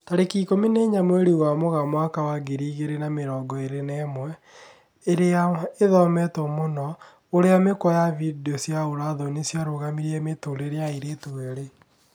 Tarĩki ikũmi na inya mweri wa Mũgaa mwaka wa ngiri igĩri na mĩrongo ĩri na ĩmwe, ĩria ĩthometwo mũno: ũrĩa mĩkwa ya video cia ũra thoni ciarũgamirie mũtũrĩre wa airĩtu erĩ